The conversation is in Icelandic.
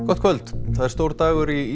gott kvöld það er stór dagur í